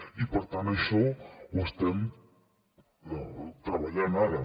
i per tant això ho estem treballant ara